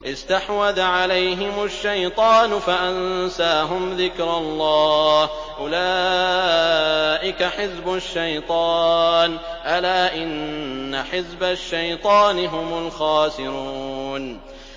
اسْتَحْوَذَ عَلَيْهِمُ الشَّيْطَانُ فَأَنسَاهُمْ ذِكْرَ اللَّهِ ۚ أُولَٰئِكَ حِزْبُ الشَّيْطَانِ ۚ أَلَا إِنَّ حِزْبَ الشَّيْطَانِ هُمُ الْخَاسِرُونَ